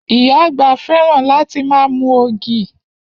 Iya àgbà fẹ́ràn láti ma mu ògì.